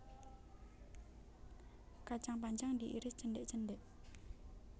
Kacang panjang diiris cendhek cendhek